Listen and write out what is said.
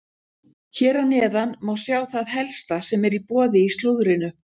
Hér að neðan má sjá það helsta sem er í boði í slúðrinu.